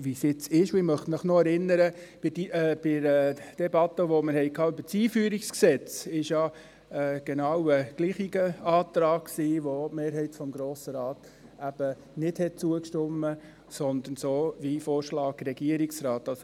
Ich möchte Sie noch daran erinnern, dass bei der Debatte zum EG AIG und AsylG ein genau gleicher Antrag kam, welchem die Mehrheit des Grossen Rates nicht zustimmte, sondern dem Vorschlag des Regierungsrates folgte.